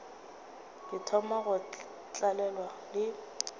ke thoma go tlalelwa le